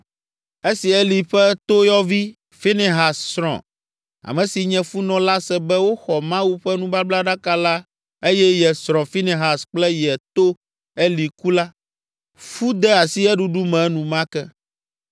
Esi Eli ƒe toyɔvi, Finehas srɔ̃, ame si nye funɔ la se be woxɔ Mawu ƒe nubablaɖaka la eye ye srɔ̃, Finehas kple ye to, Eli ku la, fu de asi eɖuɖu me enumake.